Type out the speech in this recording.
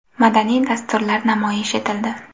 Madaniy dasturlar namoyish etildi.